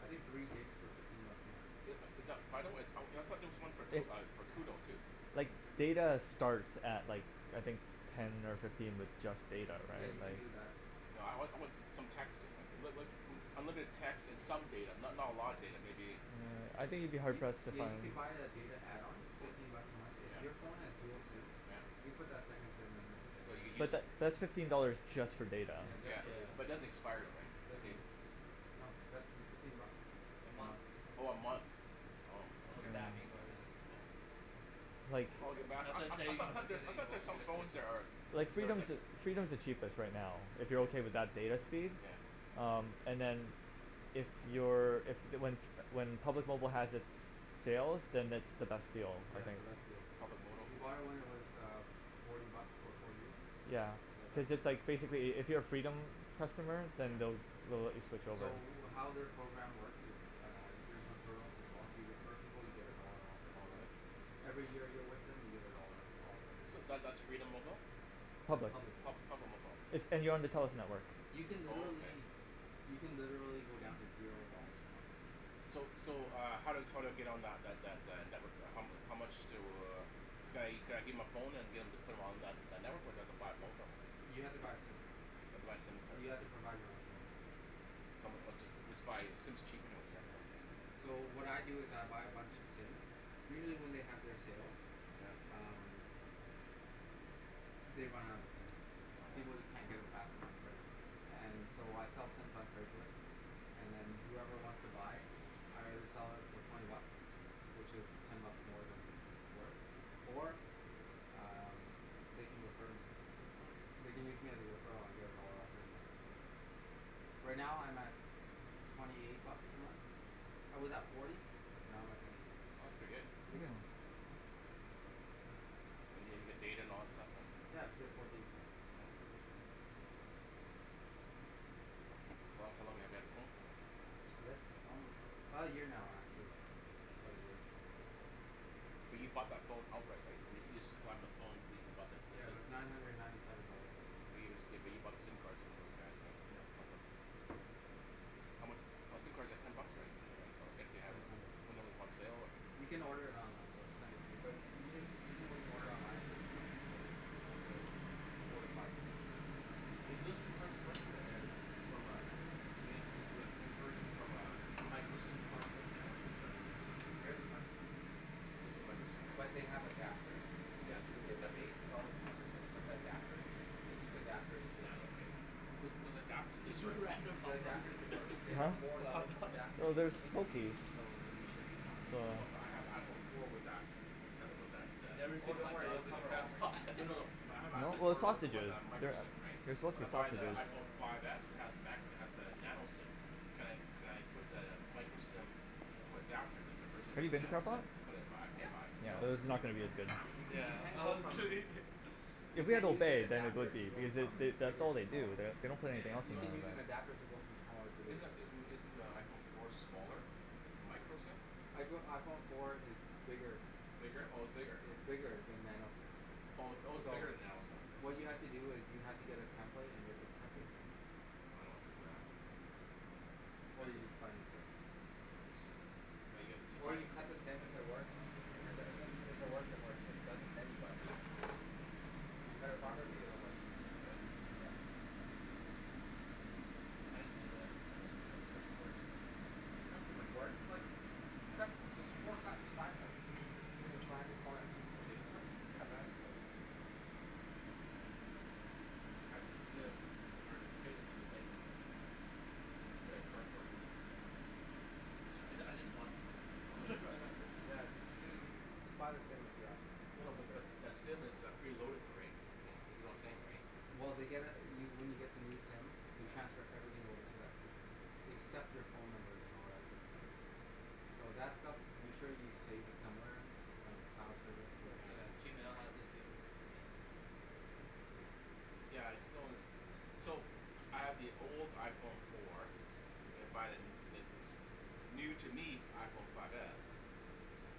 I think three gigs for fifteen bucks a month Is is that Fido? Uh I thought there was one Like uh for Koodo too? like data starts at like I think ten or fifteen with just data Yeah right you can like do that No I I want some texting right, but but unlimited text and some data, not not a lot of data maybe Yeah, I think you'd be hard You pressed to yeah find you can buy a data add-on fifteen bucks a month. If Yeah your phone has dual SIM Yeah you can put that second SIM in So there you use But tha- that's fifteen dollars just for data Yeah just Yeah, for data but it Yeah doesn't expire right, the Doesn't data? No that's fifteen bucks A month um Oh a month. Oh, And no ok. Hmm stacking or anything Like I That's what I'm I I saying thought there's I thought there's some phone that are Like there's Freedom's like the, Freedom's the cheapest right now if you're okay with that data speed, Yeah um, and then if you're, if, the when when Public Mobile has it's sale then it's the best deal I That's think the best deal Public mobile Did you buy it when it was uh forty bucks for four gigs? Yeah. Yeah that's Cuz the it's like one basically if you're a Freedom customer then Yeah they'll they'll let you switch over. So how their program works is Uh there's referrals as well, if you refer people you get a dollar off Oh every month really? Every year you're with them you get a dollar off every So month that's that's Freedom Mobile? No it's Public. Public Pub- Mobile Public Mobile. It's, and you're on the Telus network You can Oh okay. literally you can literally go down to zero dollars a month. So so uh how how do I get on that that that network, how mu- how much do, could I could I give my phone and get em to put on that that network or do I haffa buy a phone from them? You have to buy a SIM, I have to buy a SIM card. you have to provide your own phone. Some or just just buy a SIM's cheap anyways. So what I do is I buy a bunch of SIMs, usually when they have their sales, Yeah um They run out of SIMs, Oh people just yeah. can't get them fast enough And so I sell SIMs on Craigslist And then whoever wants to buy I either sell it for twenty bucks which is ten buck more than it's worth or um they can refer me. Hmm They can use me as a referral and I get a dollar off every month Right now I'm at twenty eight bucks a month, I was at forty but now I'm at twenty eight so, pretty good. And and you get data and all that stuff and? Yeah, I get four gigs now Hmm How how long have you had the phone for than? This um now actually, Hmm about a year But you bought that phone outright, right? You you supplied them the phone but you you bought the SIM Yeah it card. was nine hundred and ninety seven dollars at the time But but you bought the SIM cards from those guys right? Yeah How mu- , but SIM cards are ten bucks right. Yeah it's ten bucks When they were on sale. You can order it online they'll send it to you. But u- u- usually when you order online it doesn't come next day, it's a four to five business days. Yeah Hey do those SIM cards work, the eh, from a eh, you make you do a conversion from a micro SIM card to a nano SIM card? There's is micro SIM Those are micro SIM right? But they have adapters Yeah, they look like The that base is always micro SIM but the adapters, you can It's use the it's adapters it's here nano right? Those those adapters do they work? The adapters they work, they have Hmm? four levels of Ah. adapting No there's I think Okay. so you should be fine So no but I have iPhone four with that Never Oh seen don't worry they'll in a cover crab all ranges pot No no no, my I have No, iPhone they're four with with sausages, a micro they're SIM right, they're suppose to when be I buy the sausages IPhone five s it has macro, it has the nano SIM, can could I put the micro SIM into adapter that converts it Have into you a been to nano SIM and put it into my iPhone five? Yeah, No though this is not gonna be as No? good. You Yeah. you can't go I'm from, kidding you If we have can't a move an then it adapter would to be, go because they from that's that's bigger all they to do, smaller they don't put anything else You in can use an there. adapter to go from smaller to Is bigger isn't isn't the iPhone four smaller, it's micro SIM? I go iPhone four is bigger Bigger, oh it's bigger? It's bigger than nano SIM Oh oh its So bigger than nano SIM? what you have to do is you have to get a template and you have to cut the SIM I don't wanna do that. Or That'll you just buy a new SIM Just buy a new SIM But you gotta, you Or buy you cut the SIM if it works, if it doesn't if it works it works, if it doesn't then you buy a new SIM Oh If you cut it properly it will work Will it? I didn't do that. I wouldn't do that, it's too much work. It's not too much work, it's like you cut there's four cuts five cuts Hmm the corner Have you did it before? Yeah I've done it before Oh. Cut the SIM to order it to fit into the thing It's made out of cardboard. Some sort I of I just bought the SIM, so Yeah you ju- you No no but just but SIM is uh preloaded though right, that's the thing, you know what I'm saying right? Well they get uh you when you get the new SIM they transfer everything over to that SIM except your phone numbers and all that good stuff. So that stuff, make sure you save it somewhere if you're on a cloud service or Yeah, Yeah. Gmail has it too. Yeah, it's So, I have the old iPhone four and I buy the n- the new, to me, f- iPhone five s,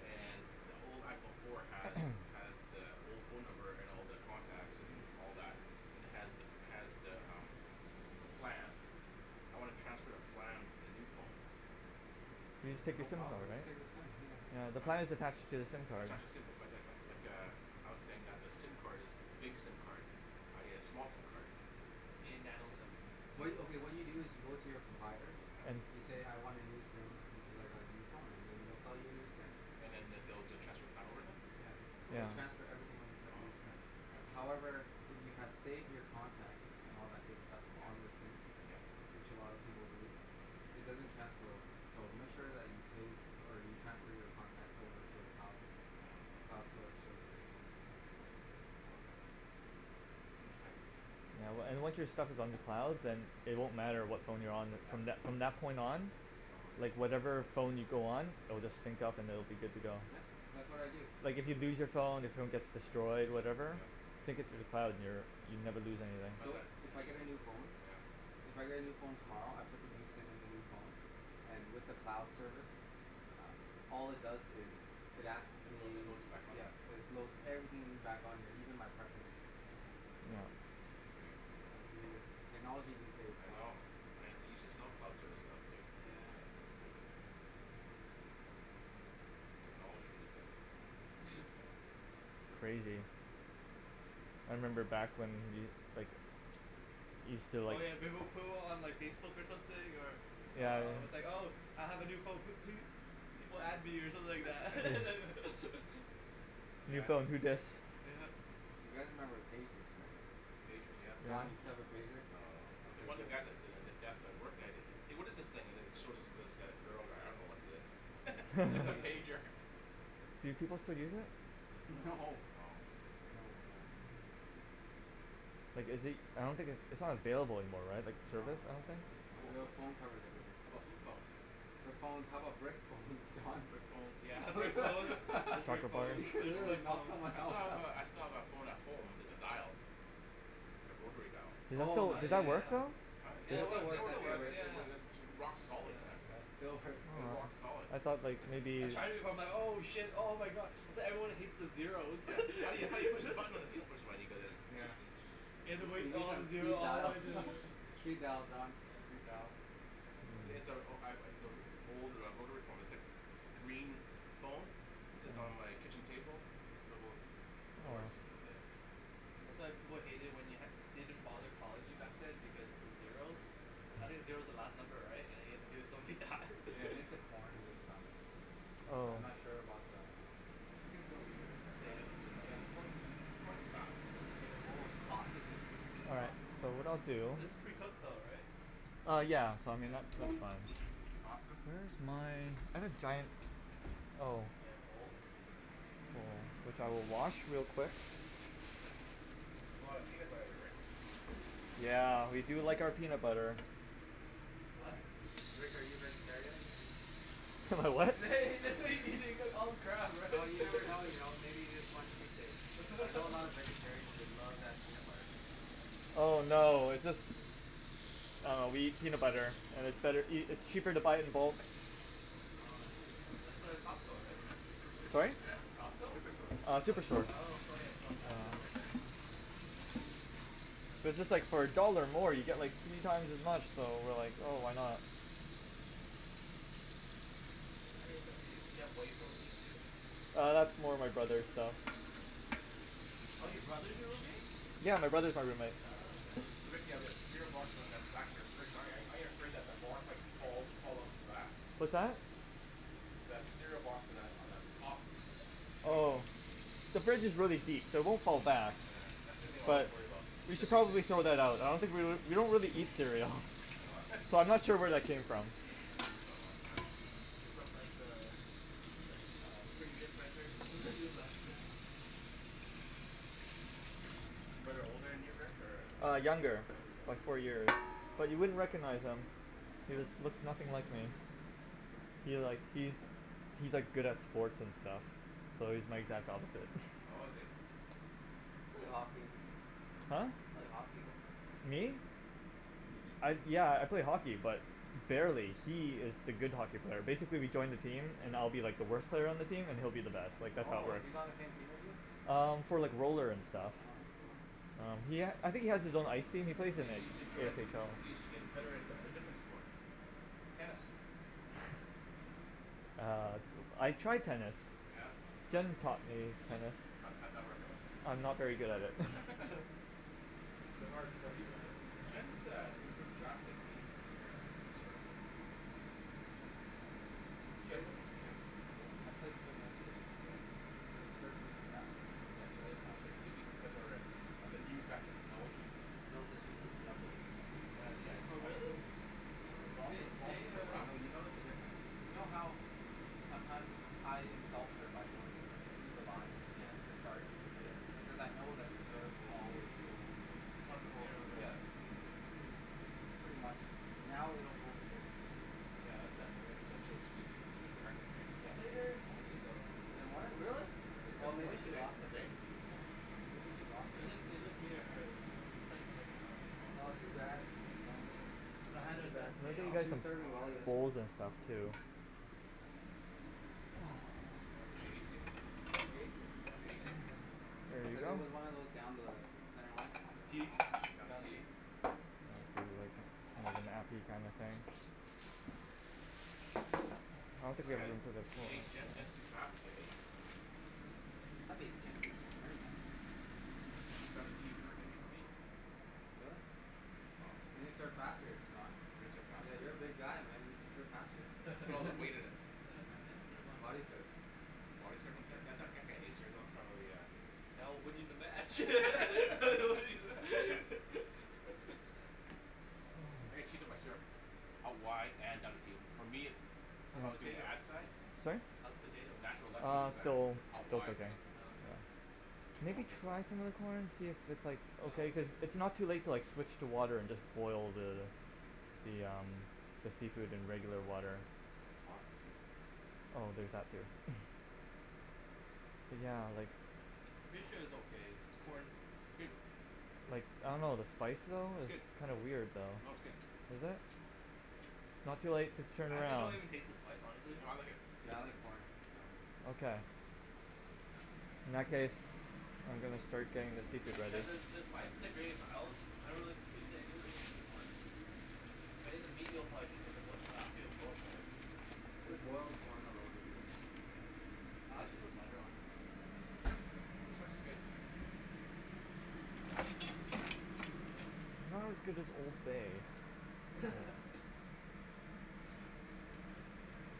and the old iPhone four has, has the old phone number and all the contacts and all that and has the, has the umm the plan. I wanna transfer the plan to the new phone. You just take your No SIM card, problem, just right? take the SIM yeah. Yeah, the plan is attached to the SIM I card. tried to [inaudible 0:30:35.01 - 0:30:35.49] but- but- lik- lik- like a, I was saying that the SIM card is big SIM card. I need a small SIM card. You need nano SIM. What you, okay, what you do is you go to your provider. Mhmm. You say, "I want a new SIM because I got a new phone" and then they'll sell you a new SIM. And then they'll be able to transfer plan over then? Yeah. They will Oh. transfer everything over to that Oh new SIM. okay. Yeah, that's easy. However, if you have saved your contacts and all that good stuff Yeah. on the SIM, Yeah. which a lot of people do, it doesn't transfer over. So make sure that you save, or you transfer your contacts over to a cloud, cloud store service or something like that. Okay Interesting. Yeah, wa- and once your stuff is on the cloud, then it won't matter what phone you're on with, from Yeah. that, from that point on Just download it. like whatever phone you go on it'll just sync up and it'll be good to go. Yep. That's what I do. Like if you lose your phone, your phone gets destroyed, whatever. Sync it to the cloud and you're, you'd never lose anything. So, if I get a new phone Yeah. If I get a new phone tomorrow, I put the new SIM in the new phone, and with the cloud service, uh all it does is, it asks It load, me, it loads back on yeah, there. it loads everything back on here, even my preferences. Uh. Oh. That's pretty good. Yeah, it's pretty good. Technology these days, I Don. know. I have to use a self-cloud service stuff, too. Yeah. Technology these days. It's crazy. I remember back when we, like, we still Oh like yeah, they will put it on like Facebook something or Yeah. uh, it's like, "Oh I have a new phone pe- pe- people add me" or something like that. New Yeah. phone You guys remember pagers right? Pagers, yeah. Don, you still have a pager? No. Okay, One of good. the guys at the, at the desk I worked at it, "Hey, what is this thing?" and then it showed it to this g- girl, like, "I don't know what it is." It's a pager. Do people still use it? No, No. no. No, no. Like is it, I don't think its, it's not available anymore, right? Like No, no, no, no. service, I don't Your think? phone covers everything. How about flip phones? Flip phones. How about brick phones, Don? Brick phones. You're Brick phones and Soccer flip player phones. They're just, gonna like, knock phones. someone I still have out. a, I still have that phone at home that's dial. Oh So, my Ai does ya that goodness, work ya. man. though? It still [inaudible works, it still works. 0:32:42.56 - 0:32:43.83] rock solid man. Yeah, still works. Uh, rock solid. I thought like, maybe I tried it before. I'm like, "Oh shit, oh my god. That's why everyone hates the zeros." Yeah. How you, how you push the button? Like, you don't push the button, you go like this. Yeah. You need some speed dial. Speed dial Don, speed dial. Yeah. [inaudible 0:32.59.28 - 0:33:00.74] old uh rotary phone. It's like, it's a green phone, sits on my kitchen table. Still goes, still works. Yeah. That's why people hated it when you had- didn't bother calling you back then because of the zeros. I think Mm. zero's the last number, right? And you have to do it so many times. Hey, I think the corn is done. But I'm not Oh. sure about the We can still leave it in there, Potato. Yeah, the right? corn i- the corn's fastest, the potatoes are Oh the slowest. sausages. All right. Awesome. So what I'll do This is pretty cooked though, right? Uh yeah. So I mean that, that's fine. pasta? Where's my, I had a giant, oh. Giant bowl? Bowl, which I will wash real quick. That's a lot of peanut butter, Rick. Yeah, we do like our peanut butter. What? Rick, are you a vegetarian? Am I what? He just said he, he's gonna eat all the crab, right? Well, you never know you know. Maybe you just want cheat days. I know a lot of vegetarians, they love that peanut butter. Oh no, it's just, uh, we eat peanut butter, and it's better eat- and it's cheaper to buy it in bulk. Oh I see. That's uh, Costco, right? Sorry? It's Costco? Superstore. Uh, Superstore. Oh [inaudible 0:34:06.91 - Yellow. 0:34:08.08] So just like for a dollar more, you get, like, three times as much, so we're like, "Oh, why not." You have whey protein too? Uh, that's more my brother's stuff. Oh your brother's your roommate? Yeah. My brother's my roommate. Oh, okay. So Rick, you have that cereal box on the back of your fridge. ar- aren't you afraid that the box might fall, fall off the back? What's that? That cereal box on that, on the top. Oh. The fridge is really deep, so it won't fall back. Yeah. That's the thing I always worry about. We should probably throw that out. I don't think we l- we don't really eat cereal. Oh So, I'm not sure where that came from. It's from like the, the- uh previous renters who just left it. Is your brother older than you, Rick, or, uh Uh, younger? younger, Younger by brother. four year. But you wouldn't recognize him. He No? looks, looks nothing like me. He like, he's, he's like good at sports and stuff. So he's my exact opposite. Oh, is he? You play hockey. Huh? You play hockey though. Me? I, yeah, I play hockey but barely, He is the good hockey player. Basically, we joined a team, and I'll be like the worst player on the team and he'll be uh-huh. the best. Like that's how it Oh, works. he's on the same team as you? Um, for like roller and stuff. Oh, bro. Um, he ha- I think he has his own ice team. He plays in you it. should join a, y- y- you should get better at, at a different sport. Tennis. Uh. I tried tennis. Yeah? How'd Jenn taught me tennis. How'd, how'd that work out? I'm not very good at it. It's a hard sport to learn. Jenn has, uh, improved drastically in her, uh, serve. Played, I played, I played Kim yesterday. Yeah? Her serve's even faster now. faster maybe because of her, uh, of the new racket technology. No, cuz she loosened up her wrist. Well, yeah. It's Oh also really? It also, Today, it's also today her uh No, racket. you notice the difference. You know how sometimes I insult her by going to the line, Yeah. to start Yeah. because I know that the serve will always go, Some in well general yeah, direction. is uh. Pretty much. Now it will go in different places. Yeah, that's, that's so she'll, she cou- she she can direct it, right? I Yeah. played her in the morning though. In the morning? Really? This, Yeah. Oh, this maybe morning? she Today, t- lost it today? then. Yeah. Maybe she lost It was it. just, it was just me and her. Just we were just playing for, like, an hour. Oh. Oh too bad. You know. Yeah I had Too to bad. the day off. She was some serving Wow. well yesterday. bowls and stuff too. Oh, did she ace you? Yeah, she No. aced me. She ace you? Yesterday. Here you Cuz Oh. go. it was one of those down the center line. T? Oh no. Down the Down T. T. Was an kinda thing. I don't think you I are got it. letting He aced Jenn? Jenn's too fast to get aced. Have aced Jenn before. Many times. Got a T for her maybe for me. Really? Oh. You can serve faster Don? I can serve faster. Yeah. You're a big guy, man. You can serve faster. Put all that weight in it. Yeah, Yeah. pretty much. Body serve Body serve on Jenn that that that can't ace her, that'll probably a That will win you the match. I can cheat on my serve. a wide and for me, How's the from doing the potato? ad side? Sorry? How's the potato? Natural left field Uh, side. still, Out still wide cooking. right? Oh okay. Okay, now Maybe this one? try some of the corn, and see if it's, like, okay, cuz it's not too late to, like, switch to water and just boil the, the um, the seafood in regular water. Oh, it's hot. Oh, there's that too. Yeah, like Pretty sure it's okay. Corn. Like, I don't know. The spice, though, It's good. it's kinda weird, though. No., it's good. Is it? It's not too late to turn I actually don't around. even taste the spice honestly. No, I like it. Yeah, I like corn. Okay. In that case, I'm gonna start getting the seafood You ready. guys uh, the spice is like really mild. I don't really taste it anyways in the corn. But in the meat you'll probably taste it cuz it'll, it'll, right? Just boiled corn alone is good. Yeah. I actually put butter on it. Like some butter in there. The spice is good. Not as good as Old Bay.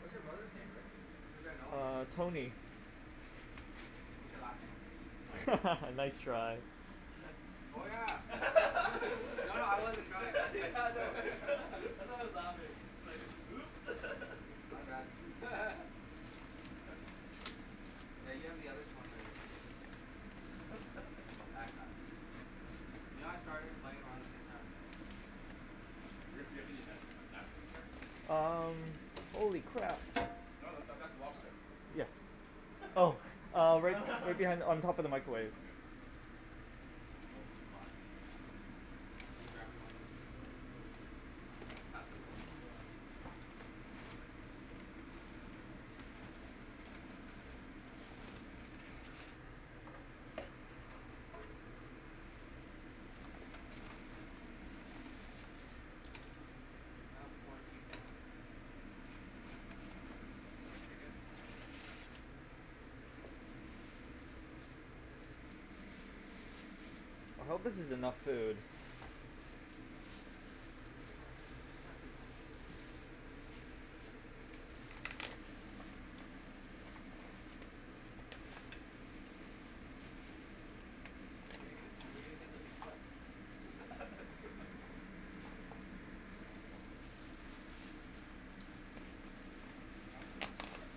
What's your brother's name, Rick? Maybe I know him. Uh, Tony. What's your last name? Nice try. Oh yeah. No. No, no, I wasn't trying Yeah, I know. I know it's louder. It's like, "Oops." My bad. Yeah, you have the other Tony on your team. That guy. You know I started playing around the same time as him? Rick, do you have any nan- uh napkins here? Um. Holy crap. No, that, that's a lobster. Yes. Oh uh, right b- right behind, on top of the microwave. Okay. Oh, too hot Can you grab me one Will you pass the roll? Yeah. I'll take the first one. Sure. Touch that. I have corn teeth now. The spice is pretty good. I hope this is enough food. Should be fine. Yeah should be fine. Are we gonna, are we gonna get the meat sweats? Good. Control yourself. some of them meat sweats.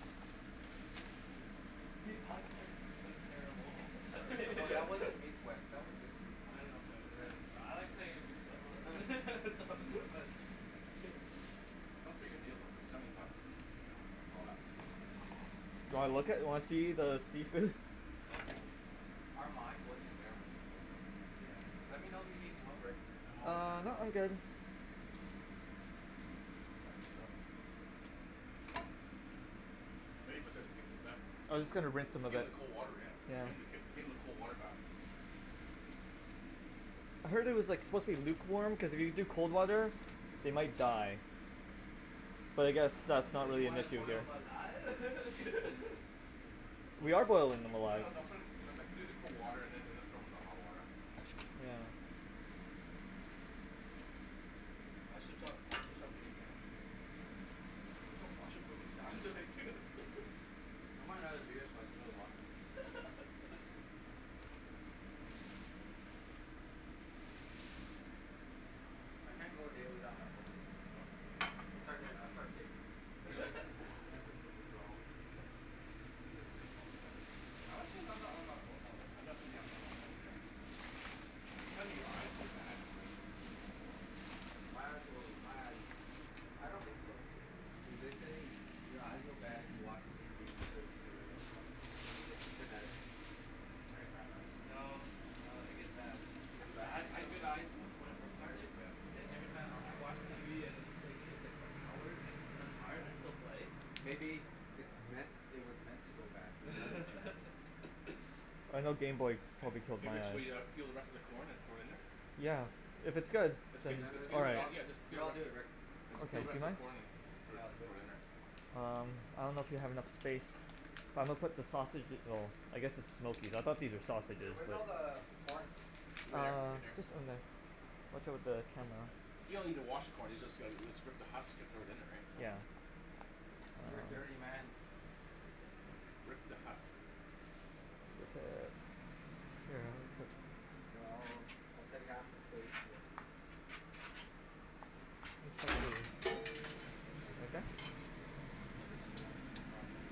Alex qu- quite- terrible at No, that wasn't meat sweats. That was just food coma. I know but, but I like saying meat sweats so so but Yeah. That's a pretty good deal though, for seventy bucks. Yeah. For all that food? Yeah. Do you want Steak. look at, you wanna see the seafood? Okay. Our mind wasn't there when we played though. Yeah. Let me know if you need help, Rick. I'm always down Uh, to no, help I'm you. good. Can you pass me the Yeah. Maybe put the give them, I was just gonna rinse 'em a give bit. them the cold water, yeah. Yeah. Give them the k- give them the cold water bath. I heard it was, like, supposed to be lukewarm because if you do cold water, they might die. But I guess that's So not you really an wanna issue boil here. 'em alive? We are boilding them No, alive. no, no, put 'em, no, like, do the cold water and then, then throw them in the hot water. Yeah. I should stop, I should stop drinking actually. I washroom so many times already too. I want another beer so I can go to the washroom. I can't go a day without my phone. No? No. I'll start doing, I start shaking. Really? Yeah. Symptoms of withdrawal. You guys and your phones, man. I'm actually not that on my phone all I'm the time. not really, yeah, I'm not on my phone either. Do you find that your eyes go bad when you're using your phone that long? My eyes go, my eyes. I don't think so. Yeah, they say your eyes go bad if you watch TV, you play the computer, or you go on your phone. It's genetics. Oh, I get bad eyes. No, no. It gets bad. It I, gets I bad? You ha- I think so? had good eyes from, when I first started, Yeah. then every time I'll, I watch TV and then play games, like, for hours, like, when I'm tired I still play. Maybe, it's No. meant, it was meant to go bad because of genetics. I know gameboy Hey, probably killed hey my Rick, so eyes. we uh peel the rest of the corn and throw it in there? Yeah. If it's good, No, no, that's then good. all right. I get- no, I'll do it Rick. Just Okay. peel the Do rest you of mind? the corn and, and throw it, Here, I'll do it. throw it in there. Um. I don't know if you have enough space. It's fine. But I'm gonna put the sausage- well, I guess its smokies, I thought these were Hey, sausages, where's all but the corn? Over there, Uh, right there. just in there. Watch out for the camera. You don't even wash the corn. You just go, you just rip the husk and throw it in there, right? So. Yeah. You're a Uh. dirty man. Rip the husk. Here, I'll, I'll take half the space, Rick. Sorry. You okay? I'm destroying property.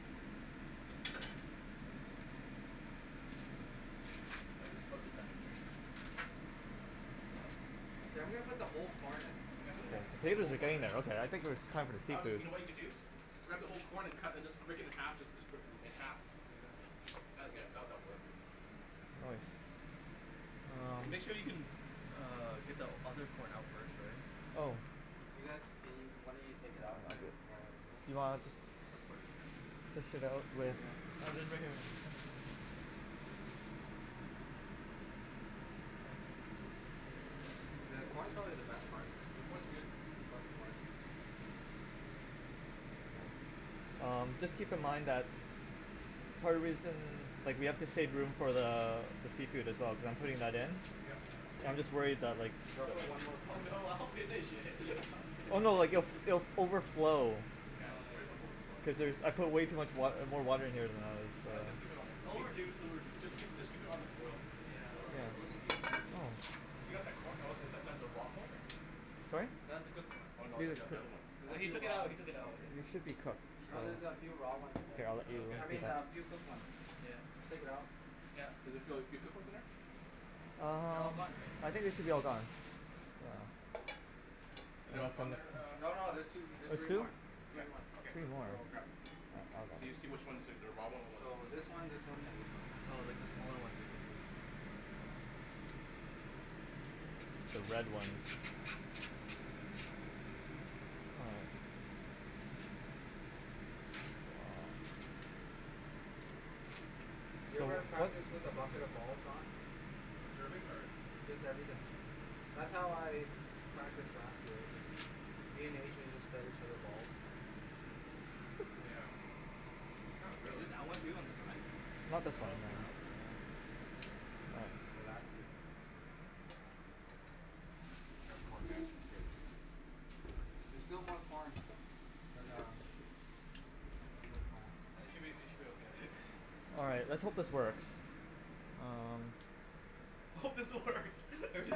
I think the spuds are done What? Hey, I'm gonna put the whole corn in. Yeah, put the whole co- put the whole Potatoes are corn in. getting there, okay. I think we're, it's time for the Alex, seafood. you know what you can do? Grab the whole corn and cut and just break it in half and just sp- split it in half. Oh yeah. That'll get, that, that'll work. Nice. And Um. make sure you can uh get the other corn out first, right? Oh. You guys, can y- one of you take it out while I do this? Put, put it there. Fish it out with Oh right here. Yeah, the corn's probably the best part. The corn's good. I love the corn. Um, just keep in mind that Part of the reason, like we have to save room for the, the seafood as well cuz I'm putting that in. Yeah. Yeah, I'm just worried that like Yo, I'll put one more Oh corn in. no, I'll finish it. I'll finish Oh no. Like if, it. it'll f- overflow. Yeah, he's worried about overflowing. Cuz there's, I put way too much wa- uh, more water in here than I was All right, just keep it on the It'll b- reduce, keep, it'll reduce. just Don't worry. keep, just keep it on the boil. Yeah. It'll, It'll, will it'll, reduce. it'll, it'll keep reducing. Oh. If you got that corn, oh is that, that the raw corn or? Sorry? That's a cooked corn. Oh no, It is the oth- the other one. cooked. Oh. No, he took it out. He took it Oh out. okay. It should be cooked. No, there's a few raw ones in there. Here, I'll let Oh okay, you I mean, a cool. few cooked ones. Yeah. Take it out. Yeah. Does it feel like few cooked ones in there? They're Um, all gone, right? I think it should be all gone. Are they all gone there, No, uh no. Alex? There's two, there's three There's two? more. Yeah, Three more. okay, There's more. So grab. So you see which ones are the, the raw one or what's the So, cooked this one. one, this one, and this one. Oh like, the smaller one basically. The red one. You ever practice with a bucket of balls, Don? Serving? Or? Just everything. That's how I practiced last year. I just, me and Adrian just fed each other balls. Yeah. Not really. That one too? On the side? Oh, that was good though. Here, last two. That's good. Grab a corn, guys. It's good. There's still more corn. But Mhm. um I'm sure it's fine. I think should be, it should be okay. All right. Let's hope this works. Um. I hope this works.